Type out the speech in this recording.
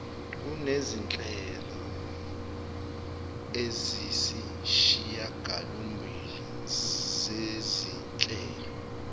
kunezinhlelo eziyisishiyagalombili zezinhlelo